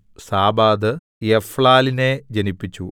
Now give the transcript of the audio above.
സാബാദ് എഫ്ലാലിനെ ജനിപ്പിച്ചു